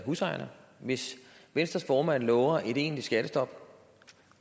husejerne hvis venstres formand lover et egentligt skattestop